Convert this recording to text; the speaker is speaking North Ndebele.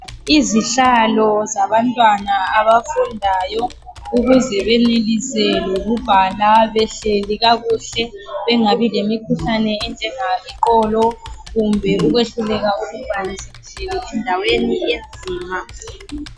Izihlalo zabantwana abafundayo ukuze benelise lokubhala behleli kakuhle bengabi lemikhuhlane enjanga iqolo kumbe ukwehluleka ukubhalisisa endaweni enzima